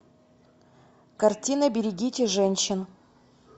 картина берегите женщин